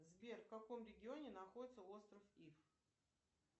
сбер в каком регионе находится остров иф